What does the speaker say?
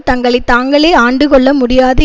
தங்களை தாங்களே ஆண்டுகொள்ள முடியாது